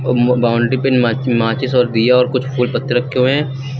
Boundary पे मा माचिस और दिया और कुछ फूल पत्ते रखे हुए हैं।